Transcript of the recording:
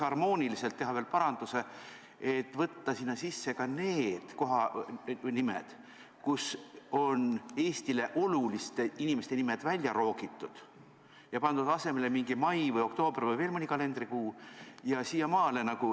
– teha veel ühe harmoonilise paranduse ja võtta sinna sisse ka need kohanimed, kust on Eestile oluliste inimeste nimed välja roogitud ja pandud asemele mingi mai, oktoober või veel mõni kalendrikuu?